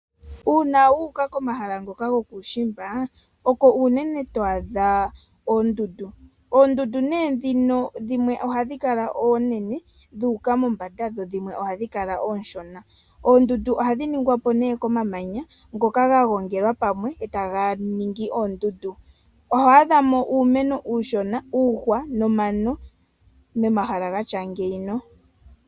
Uuna wuuka komahala ngoka gokuushimba oko uunene to adha oondundu. Oondundu nee dhino, dhimwe ohadhi kala oonene dhuuka mombanda dho dhimwe ohadhi kala ooshona. Oondundu ohadhi ningwapo nee komamanya ngoka ga gongelwa pamwe e taga ningi oondundu, oho adhamo uumeno uushona, uuhwa nomano momahala gatya ngino.